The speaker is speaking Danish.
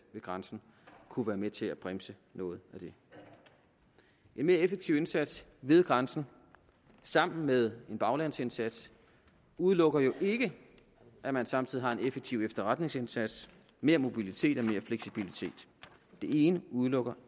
ved grænsen kunne være med til at bremse noget af det en mere effektiv indsats ved grænsen sammen med en baglandsindsats udelukker jo ikke at man samtidig har en effektiv efterretningsindsats mere mobilitet og mere fleksibilitet det ene udelukker